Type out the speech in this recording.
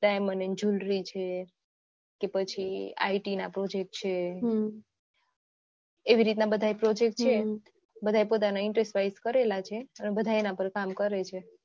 diamond and jwellery છે પછી IT project છે એવી રીતના બધા project છે બધા એ પોતાના interest wise કરેલા છે બધા એના પાર કામ કરે છે